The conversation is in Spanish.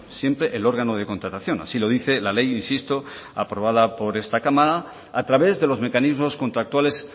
siempre el órgano de contratación así lo dice la ley insisto aprobada por esta cámara a través de los mecanismos contractuales